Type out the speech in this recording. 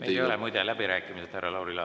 Need ei ole muide läbirääkimised, härra Lauri Laats.